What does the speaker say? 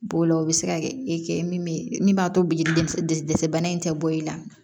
B'o la o bɛ se ka kɛ e kɛ min min b'a to bi dɛsɛ bana in tɛ bɔ i la